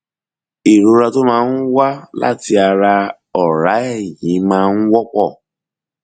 ìrora tó máa ń wá láti ara ọrá ẹyin máa ń wọpọ